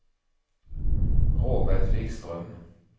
Robert Wikström